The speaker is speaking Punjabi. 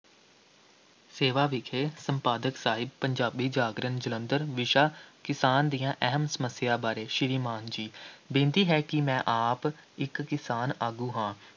ਸੇਵਾ ਵਿਖੇ, ਸੰਪਾਦਕ ਸਾਹਿਬ, ਪੰਜਾਬੀ ਜਾਗਰਣ, ਜਲੰਧਰ, ਵਿਸ਼ਾ ਕਿਸਾਨ ਦੀਆਂ ਅਹਿਮ ਸਮੱਸਿਆ ਬਾਰੇ, ਸ੍ਰੀਮਾਨ ਜੀ, ਬੇਨਤੀ ਹੈ ਕਿ ਮੈਂ ਆਪ ਇੱਕ ਕਿਸਾਨ ਆਗੂ ਹਾਂ।